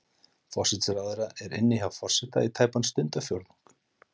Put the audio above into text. Forsætisráðherra er inni hjá forseta í tæpan stundarfjórðung.